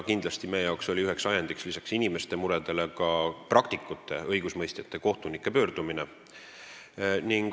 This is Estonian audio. Kindlasti oli meie jaoks üks ajend – peale inimeste murede – ka praktikute, st õigusemõistjate, kohtunike pöördumine.